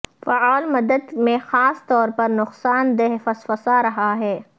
فعال مدت میں خاص طور پر نقصان دہ فسفسا رہا ہے